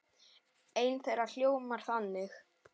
Ein þeirra hljóðar þannig